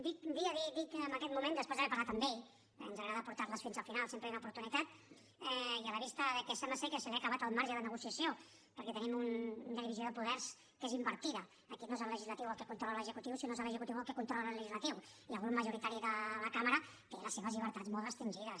dir que en aquest moment després d’haver parlat amb ell ens agrada portar les fins al final sempre hi ha una oportunitat i a la vista de que sembla ser que se li ha acabat el marge de negociació perquè tenim una divisió de poders que és invertida aquí no és el legislatiu el que controla l’executiu sinó que és l’executiu que controla el legislatiu i el grup majoritari de la cambra té les seves llibertats molt restringides